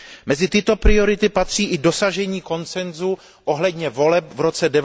Mezi tyto priority patří i dosažení konsensu ohledně voleb v roce